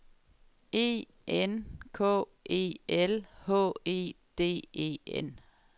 E N K E L H E D E N